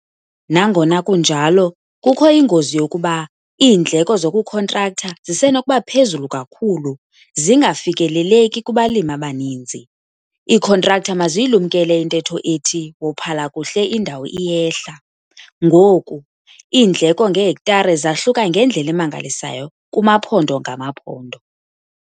Nangona kunjalo, kukho ingozi yokuba iindleko zokukhontraktha zisenokuba phezulu kakhulu - zingafikeleleki kubalimi abaninzi. Iikhontraktha maziyilumkele intetho ethi "wophala kuhle indawo iyehla". Ngoku, iindleko ngehektare zahluka ngendlela emangalisayo kumaphondo ngamaphondo.